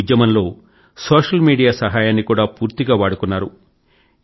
ఈ ఉద్యమంలో social media సహాయాన్ని కూడా పూర్తిగా వాడుకున్నారు